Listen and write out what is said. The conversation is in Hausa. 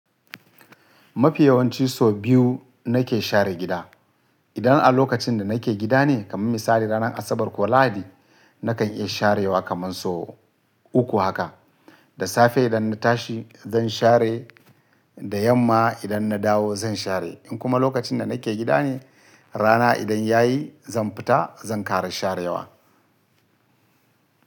Mafi yawanci so biyu nake share gida. Idan a lokacin da nake gida ne, kamar misali ranar Asabar ko Lahadi, na kan iya sharewa kaman so uku haka. Da safe idan na tashi zan share, da yamma idan na dawo zan share. In kuma lokacin da nake gida ne, rana idan ya yi zan fita zan ƙara sharewa.